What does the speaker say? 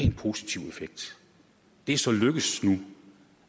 en positiv effekt det er så lykkedes nu